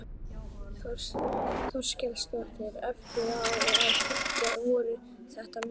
Þórhildur Þorkelsdóttir: Eftir á að hyggja, voru þetta mistök?